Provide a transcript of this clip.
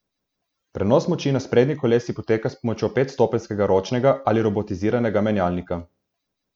Prenos moči na sprednji kolesi poteka s pomočjo petstopenjskega ročnega ali robotiziranega menjalnika.